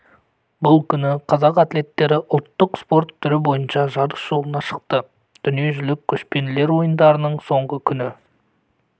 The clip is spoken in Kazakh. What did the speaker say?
бұл күні қазақ атлеттері ұлттық спорт түрі бойынша жарыс жолына шықты дүниежүзілік көшпенділер ойындарының соңғы күні